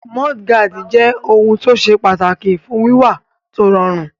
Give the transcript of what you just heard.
Múdúgáàdì jẹ́ ohun tó ṣe pàtàkì fún wíwà tó rọrùn